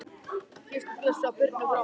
Kysstu Bjössa og Birnu frá mér.